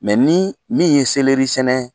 nii min ye sɛnɛ